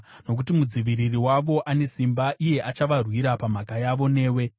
nokuti Mudziviriri wavo ane simba; iye achavarwira pamhaka yavo newe.